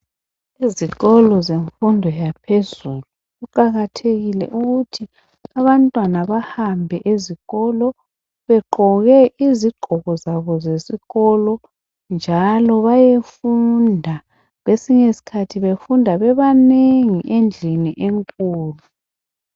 Ezikolo zemfundo yaphezulu kuqakathekile ukuthi abantwana bahambe ezikolo begqoke izigqoko zabo zesikolo njalo bayefunda. Kwesinye isikhathi befunda bebanengi endlini enkulu.